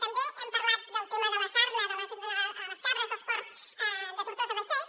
també hem parlat del tema de la sarna a les cabres dels ports de tortosa·beseit